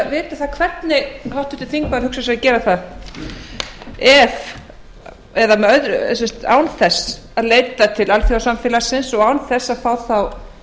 til að vita hvernig háttvirtur þingmaður hugsar sér að gera það ef eða sem sagt án þess að leita til alþjóðasamfélagsins og án þess að fá þá